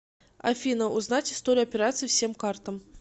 афина узнать историю операций всем картам